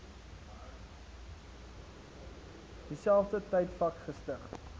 dieselfde tydvak gestig